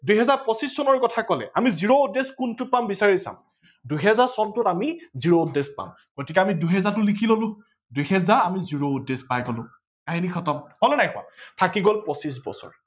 দুহেজাৰ পচিছ চনৰ কথা কলে আমি zero odd days কোনটো পাম আমি বিচাৰি চাম ।দুহেজাৰ চনটোত আমি zero odd days পাম গতিকে আমি দুহেজাৰটো লিখি ললো দুহেজাৰ আৰু zero odd days পাই গলো, কাহিনি খতম হল নে নাই হোৱা থাকি গল পচিছ বছৰ